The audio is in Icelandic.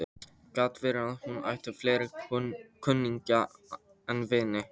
Gat verið að hún ætti fleiri kunningja en vini?